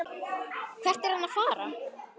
Hvert er hann að fara?